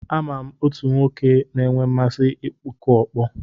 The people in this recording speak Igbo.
Ama m otu nwoke na-enwe mmasị ịkụ ọkpọ.